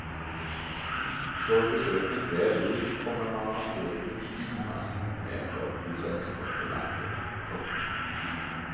Slår försöket väl ut kommer man att få ett mycket finmaskigt nät av licenskontrollanter. punkt